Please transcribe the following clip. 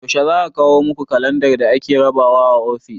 Yaushe za a kawo muku kalandar da ake rabawa a ofis?